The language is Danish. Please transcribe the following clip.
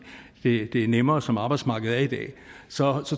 det er nemmere som arbejdsmarkedet er i dag så